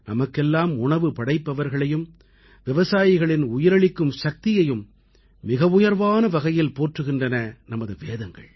நமக்கெல்லாம் உணவு படைப்பவர்களையும் விவசாயிகளின் உயிரளிக்கும் சக்தியையும் மிக உயர்வான வகையில் போற்றுகின்றன நமது வேதங்கள்